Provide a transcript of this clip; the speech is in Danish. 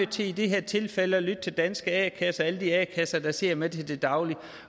til i det her tilfælde at lytte til danske a kasser alle de a kasser der sidder med det til daglig